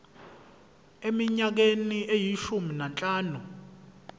eminyakeni eyishumi nanhlanu